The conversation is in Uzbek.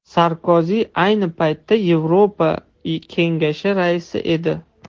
Sarkozi ayni paytda Yevropa Kengashi raisi edi.